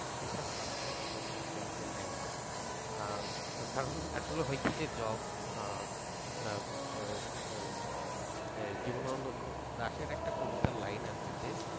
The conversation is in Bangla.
শেখার প্লাটফর্ম হিসেবে যদি আপনি নেন কারণ আসলে হয় কি যে job জীবনানন্দ দাশের একটা কবিতার লাইন আছে যে